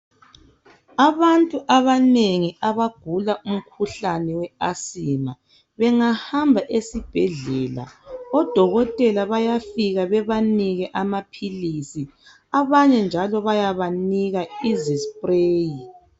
Abantu abanengi abagula umkhuhlane we asima behangahamba esibhedlela odokotela bayafika bebanike amaphilisi abanye njalo bayabanika izispreyi.